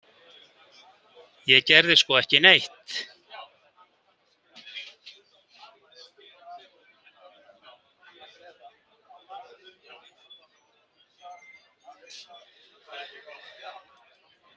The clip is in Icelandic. Ég gerði sko ekki neitt.